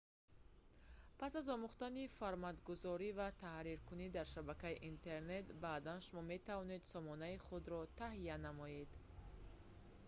пас аз омӯхтани форматгузорӣ ва таҳриркунӣ дар шабакаи интернет баъдан шумо метавонед сомонаи худро таҳия намоед